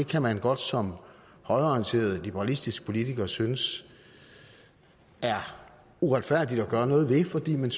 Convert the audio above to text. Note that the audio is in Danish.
kan man godt som højreorienteret liberalistisk politiker synes er uretfærdigt at gøre noget ved fordi man